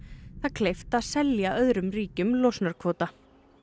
kleift að selja öðrum ríkjum losunarkvóta